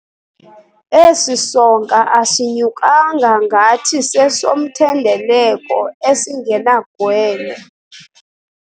Esi sonka asinyukanga ngathi sesomthendeleko esingenagwele.